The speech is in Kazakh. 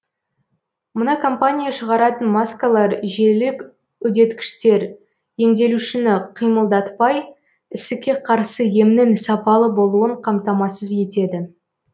мына компания шығаратын маскалар желілік үдеткіштер емделушіні қимылдатпай ісікке қарсы емнің сапалы болуын қамтамасыз етеді